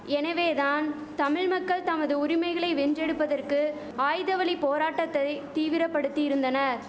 எனவே தான் தமிழ் மக்கள் தமது உரிமைகளை வென்றெடுப்பதற்கு ஆயுத வழி போராட்டத்தை தீவிரபடுத்தியிருந்தனர்